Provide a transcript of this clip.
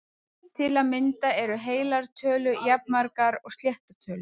Til að mynda eru heilar tölur jafnmargar og sléttar tölur!